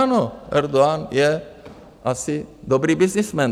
Ano, Erdogan je asi dobrý byznysmen.